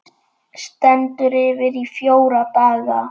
Stendur yfir í fjóra daga.